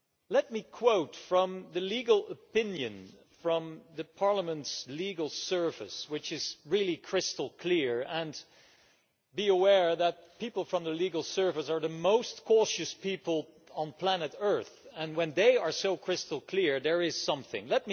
Let me quote from the legal opinion from the Parliament's Legal Service, which is really crystal clear and be aware that people from the Legal Service are the most cautious people on planet Earth, and when they are so crystal clear, there is really something there.